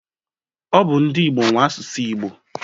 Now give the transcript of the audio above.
Ọ bụ ndị Igbo nwe asụsụ Igbo.